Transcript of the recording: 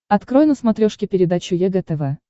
открой на смотрешке передачу егэ тв